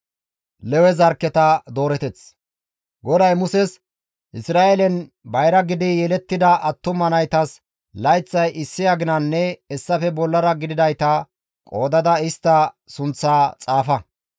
GODAY Muses, «Isra7eelen bayra gidi yelettida attuma naytas layththay issi aginanne hessafe bollara gididayta qoodada istta sunththaa xaafa.